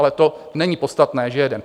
Ale to není podstatné, že jeden.